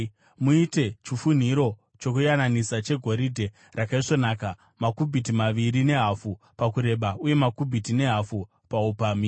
“Muite chifunhiro chokuyananisa chegoridhe rakaisvonaka, makubhiti maviri nehafu pakureba uye kubhiti nehafu paupamhi.